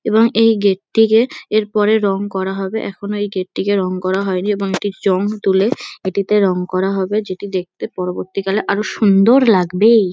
এবং এই গেট -টিকে এর পরে রঙ করা হবে। এখনো এই গেট -টিকে রঙ করা হয়নি এবং এটির জং তুলে এটিতে রঙ করা হবে যেটি দেখতে পরবর্তীকালে আরও সুন্দর লাগবে-এ।